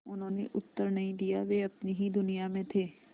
उन्होंने उत्तर नहीं दिया वे अपनी ही दुनिया में थे